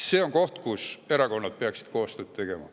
See on koht, kus erakonnad peaksid koostööd tegema.